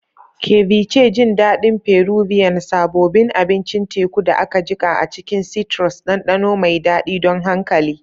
Ceviche, jin daɗin Peruvian, sabobin abincin teku da aka jiƙa a cikin citrus, ɗanɗano mai daɗi don hankali.